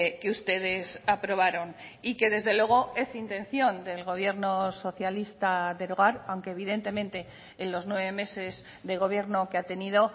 que ustedes aprobaron y que desde luego es intención del gobierno socialista derogar aunque evidentemente en los nueve meses de gobierno que ha tenido